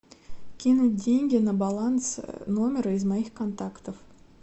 кинуть деньги на баланс номера из моих контактов